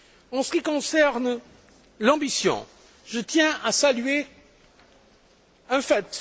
En ce qui concerne l'ambition, je tiens à saluer un fait.